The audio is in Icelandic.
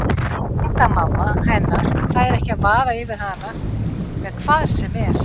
Tengdamamma hennar fær ekki að vaða yfir hana með hvað sem er.